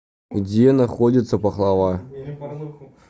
где находится пахлава